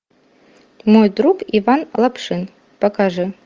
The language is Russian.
мой друг иван лапшин покажи